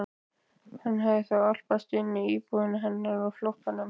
Hann hafði þá álpast inn í íbúðina hennar á flóttanum!